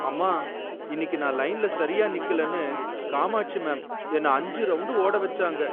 அம்மா! இன்னக்கி நான் லைன்ல சரியா நிக்கலன்னு, காமாட்சி மேம் என்ன அஞ்சு ரவுண்டு ஓட வச்சாங்க.